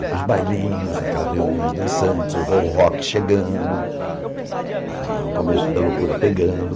Ir para os bailinhos, naquelas reuniões dançantes, o rock chegando, a o começo da loucura pegando.